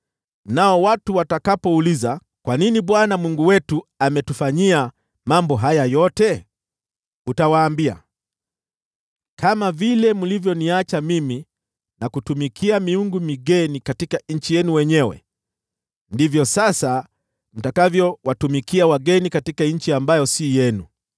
“Nao watu watakapouliza, ‘Kwa nini Bwana , Mungu wetu ametufanyia mambo haya yote?’ utawaambia, ‘Kama vile mlivyoniacha mimi na kutumikia miungu migeni katika nchi yenu wenyewe, ndivyo sasa mtakavyowatumikia wageni katika nchi ambayo si yenu.’